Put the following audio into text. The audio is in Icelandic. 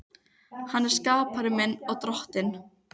Hann er skapari minn og Drottinn.